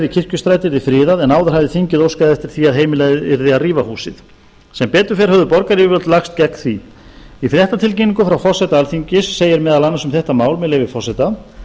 kirkjustræti yrði friðað en áður hafði þingið óskað eftir því að heimilað yrði að rífa húsið sem betur fer höfðu borgaryfirvöld lagst gegn því í fréttatilkynningu frá forseta alþingis segir meðal annars um þetta mál með leyfi forseta